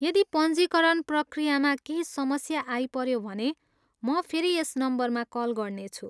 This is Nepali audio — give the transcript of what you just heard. यदि पञ्जीकरण प्रक्रियामा केही समस्या आइपऱ्यो भने म फेरि यस नम्बरमा कल गर्नेछु।